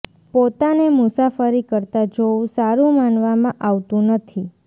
પોતાને મુસાફરી કરતા જોવું સારું માનવામાં આવતું નથી